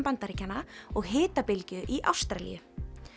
Bandaríkjanna og hitabylgju í Ástralíu